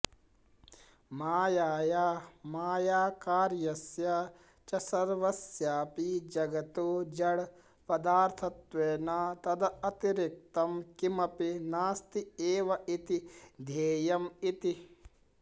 मायाया मायाकार्यस्य च सर्वस्यापि जगतो जड पदार्थत्वेन तदतिरिक्तं किमपि नास्त्येवेति ध्येयम् इति